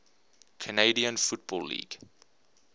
canadian football league